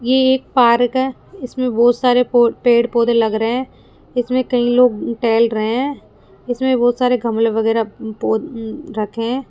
ये एक पार्क है इसमें बहोत सारे पो पेड़ पौधे लग रहे हैं इसमें कई लोग टहल रहे हैं इसमें बहुत सारे गमले वगैरा पौ अं रखें हैं।